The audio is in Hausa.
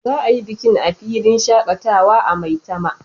Za a yi bikin a filin shakatawa a maitama